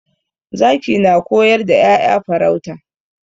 Zaki na koyar da 'ya'ya farauta.